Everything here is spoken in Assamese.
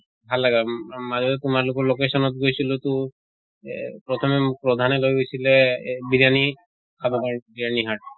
ভাল লাগা উম মাজতে তোমালোকৰ location ত গৈছিলো তু এহ প্ৰথমে মোক প্ৰধানে লৈ গৈছিলে এহ বিৰয়ানি খাব কাৰণে বিৰয়ানি hut